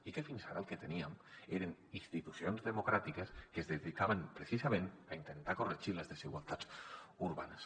i fins ara el que teníem eren institucions democràtiques que es dedicaven precisament a intentar corregir les desigualtats urbanes